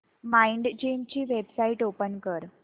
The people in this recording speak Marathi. माइंडजिम ची वेबसाइट ओपन कर